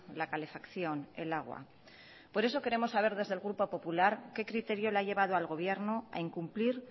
la calefacción el agua por eso queremos saber desde el grupo popular qué criterio le ha llevado al gobierno a incumplir